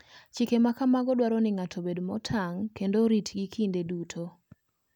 Chike ma kamago dwaro ni ng'ato obed motang ' kendo oritgi kinde duto.